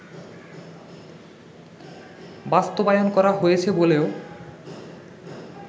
বাস্তবায়ন করা হয়েছে বলেও